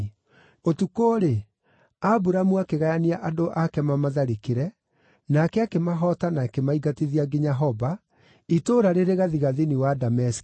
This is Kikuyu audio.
Ũtukũ-rĩ, Aburamu akĩgayania andũ ake mamatharĩkĩre, nake akĩmahoota na akĩmaingatithia nginya Hoba, itũũra rĩrĩ gathigathini wa Dameski.